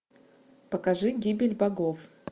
покажи гибель богов